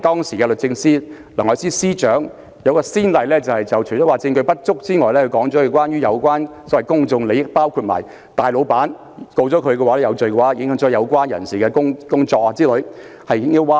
時任律政司司長梁愛詩除了指出證據不足之外，還指稱這關乎公眾利益，因大老闆胡仙一旦罪成，將影響很多人的工作，結果引來輿論譁然。